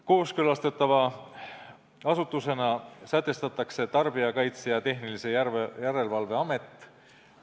Kooskõlastatava asutusena sätestatakse Tarbijakaitse ja Tehnilise Järelevalve Amet.